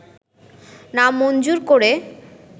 না মঞ্জুর করে